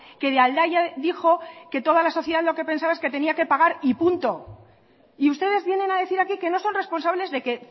que de aldaya dijo que toda la sociedad lo que pensaba es que tenía que pagar y punto y ustedes vienen a decir aquí que no son responsables de que